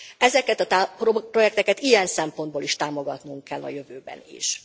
Ezeket a projekteket ilyen szempontból is támogatnunk kell a jövőben is.